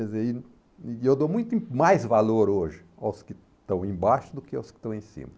E eu e eu dou muito mais valor hoje aos que estão embaixo do que aos que estão em cima.